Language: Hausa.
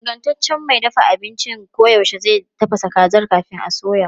Ingantaccen mai dafa abinci koyaushe zai tafasa kazar kafin a soya.